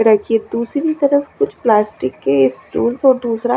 रखी ह दूसरी तरफ कुछ प्लास्टिक के स्टुल्स और दूसरा--